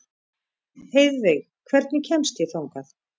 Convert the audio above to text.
Heiðveig, hvernig kemst ég þangað?